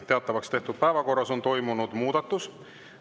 Teatavaks tehtud päevakorras on toimunud muudatus.